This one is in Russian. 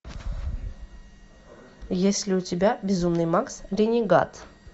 есть ли у тебя безумный макс ренегат